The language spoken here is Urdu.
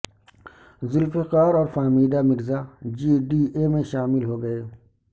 ذوالفقار اور Fahmida Mirza G D A میں شامل ہو گئے